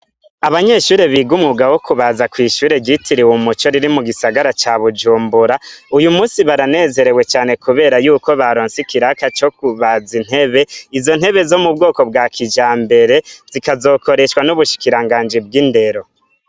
Abanyeshure big'umwuga wo kubaza mw'ishure ryitiriwe umuco riri mugisagara ca Bujumbura, uyu musi baranezerewe cane kubera yuko baronse ikiraka co kubaza intebe ,izo ntebe zo mubwoko bwa kijambere, zikazokoreshwa nubushikiranganji bw'indero.